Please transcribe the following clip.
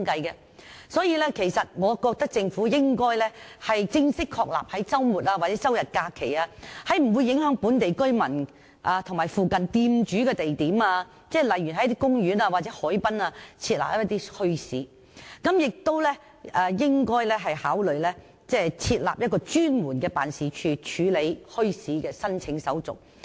因此，我認為政府應正式確立在周末、周日或假期，在不會影響本地居民和附近店主的地點，例如公園或海濱等設立墟市，並應考慮設立一個專門辦事處，處理墟市的申請手續。